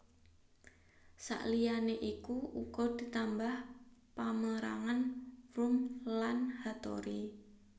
Saliyané iku uga ditambah pamérangan Wurm lan Hattori